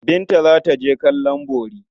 Binta za ta je kallon bori.